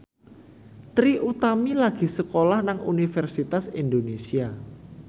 Trie Utami lagi sekolah nang Universitas Indonesia